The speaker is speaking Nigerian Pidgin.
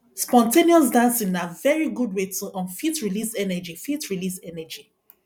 spon ten ous dancing na very good wey to um fit release energy fit release energy